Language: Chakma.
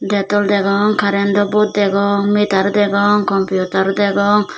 tey dol degong karendw bot degong mitar degong kompiutar degong.